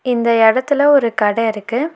இந்த எடத்துல ஒரு கட இருக்கு.